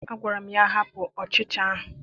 Agwara m ya, hapụ ọchịcha ahụ!